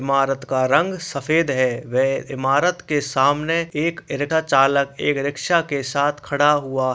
ईमारत का रंग सफ़ेद हैं वे ईमारत के सामने एक चालक एक रिक्शा के साथ खड़ा हुआ --